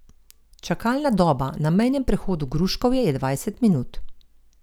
Čakalna doba na mejnem prehodu Gruškovje je dvajset minut.